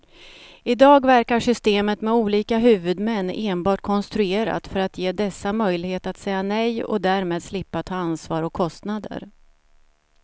I dag verkar systemet med olika huvudmän enbart konstruerat för att ge dessa möjlighet att säga nej och därmed slippa ta ansvar och kostnader.